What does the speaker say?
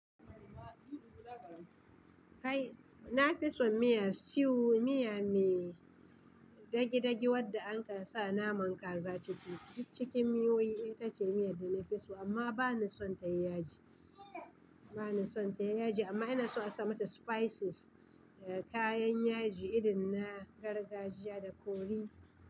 Kai na fi son miya stew, miya mai Dagi-dagi wandda anka sa naman Kaza ciki. Duk cikin miyoyi ita ce miya da na fi so amma ba na son ta yi yaji. Ba na son ta yi yaji, amma ina son a sa mata spices, kayan yaji irin na gargajiya da curry.